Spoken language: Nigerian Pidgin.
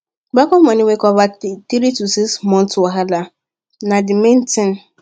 backup money wey cover three to six months wahala na the main thing